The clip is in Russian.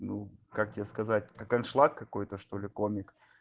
как тебе сказать какой шланг какой-то что-ли комик